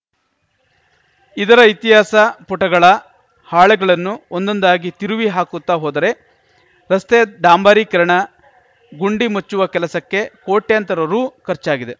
ಇದರ ಇತಿಹಾಸ ಪುಟಗಳ ಹಾಳೆಗಳನ್ನು ಒಂದೊಂದಾಗಿ ತಿರುವಿ ಹಾಕುತ್ತಾ ಹೋದರೆ ರಸ್ತೆಯ ಡಾಂಬರೀಕರಣ ಗುಂಡಿ ಮುಚ್ಚುವ ಕೆಲಸಕ್ಕೆ ಕೋಟ್ಯಂತರ ರು ಖರ್ಚಾಗಿದೆ